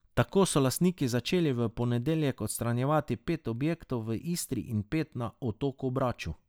Tako so lastniki začeli v ponedeljek odstranjevati pet objektov v Istri in pet na otoku Braču.